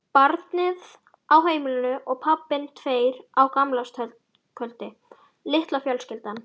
Barnið á heimilinu og pabbinn, tveir á gamlárskvöldi, litla fjölskyldan.